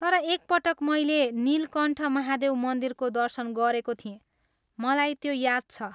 तर एक पटक मैले नीलकण्ठ महादेव मन्दिरको दर्शन गरेको थिएँ, मलाई त्यो याद छ।